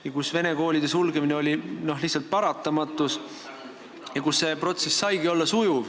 Seal oli vene koolide sulgemine lihtsalt paratamatus ja seal saigi see protsess sujuv olla.